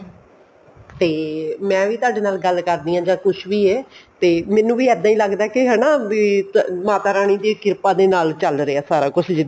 ਤੇ ਮੈਂ ਵੀ ਤੁਹਾਡੇ ਨਾਲ ਗੱਲ ਕਰਨੀ ਆ ਜਾਂ ਕੁੱਝ ਵੀ ਹੈ ਤੇ ਮੈਨੂੰ ਵੀ ਇੱਦਾਂ ਹੀ ਲੱਗਦਾ ਵੀ ਹਨਾ ਮਾਤਾ ਰਾਣੀ ਦੀ ਕਿਰਪਾ ਦੇ ਨਾਲ ਚੱਲ ਰਿਹਾ ਸਾਰਾ ਕੁੱਝ